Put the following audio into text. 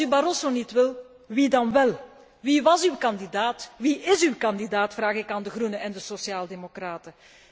Als u Barroso niet wilt, wie dan wel? Wie was uw kandidaat, wie is uw kandidaat, vraag ik aan de groenen en de sociaal democraten.